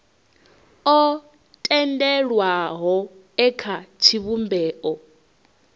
o tendelwaho e kha tshivhumbeo